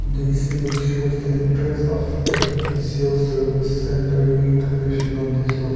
this image shows the entrance of a diesel service centre named national diesel.